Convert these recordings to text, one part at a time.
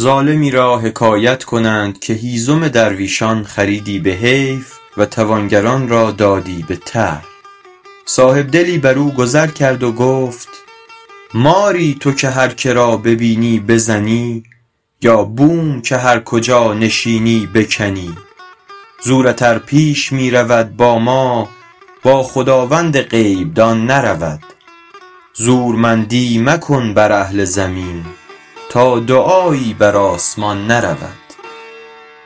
ظالمی را حکایت کنند که هیزم درویشان خریدی به حیف و توانگران را دادی به طرح صاحبدلی بر او گذر کرد و گفت ماری تو که هر که را ببینی بزنی یا بوم که هر کجا نشینی بکنی زورت ار پیش می رود با ما با خداوند غیب دان نرود زورمندی مکن بر اهل زمین تا دعایی بر آسمان نرود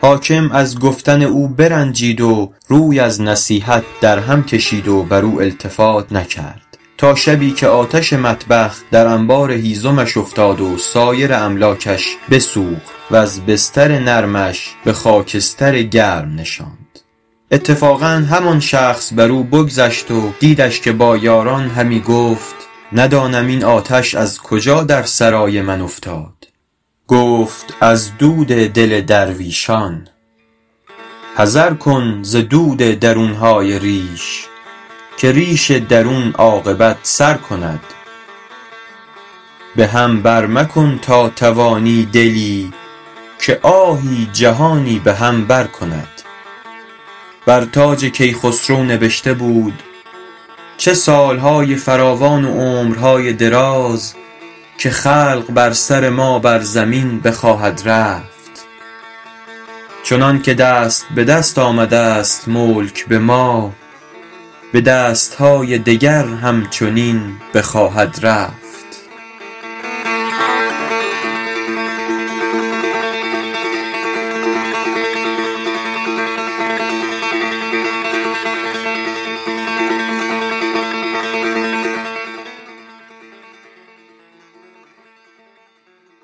حاکم از گفتن او برنجید و روی از نصیحت او در هم کشید و بر او التفات نکرد تا شبی که آتش مطبخ در انبار هیزمش افتاد و سایر املاکش بسوخت وز بستر نرمش به خاکستر گرم نشاند اتفاقا همان شخص بر او بگذشت و دیدش که با یاران همی گفت ندانم این آتش از کجا در سرای من افتاد گفت از دل درویشان حذر کن ز درد درون های ریش که ریش درون عاقبت سر کند به هم بر مکن تا توانی دلی که آهی جهانی به هم بر کند بر تاج کیخسرو نبشته بود چه سال های فراوان و عمر های دراز که خلق بر سر ما بر زمین بخواهد رفت چنان که دست به دست آمده ست ملک به ما به دست های دگر هم چنین بخواهد رفت